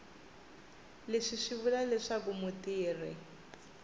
leswi swi vula leswaku mutirhi